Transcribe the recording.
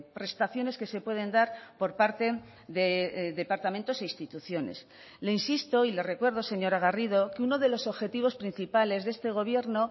prestaciones que se pueden dar por parte de departamentos e instituciones le insisto y le recuerdo señora garrido que uno de los objetivos principales de este gobierno